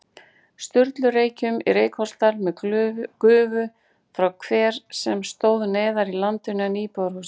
Sturlureykjum í Reykholtsdal með gufu frá hver sem stóð neðar í landinu en íbúðarhúsið.